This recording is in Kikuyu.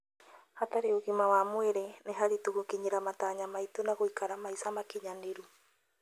Hatarĩ ũgima wa mwĩrĩ, nĩ haritũ gũkinyĩra matanya maitũ na gũikara maica makinyanĩru.